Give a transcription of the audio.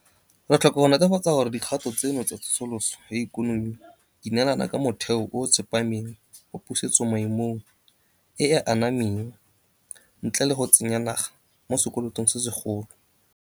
Re tlhoka go netefatsa gore dikgato tseno tsa tsosoloso ya ikonomi di neelana ka motheo o o tsepameng wa pusetsomaemong e e anameng ntle le go tsenya naga mo sekolotong se segolo.